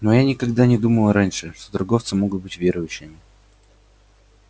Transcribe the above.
но я никогда не думал раньше что торговцы могут быть верующими